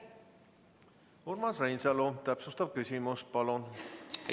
Urmas Reinsalu, täpsustav küsimus, palun!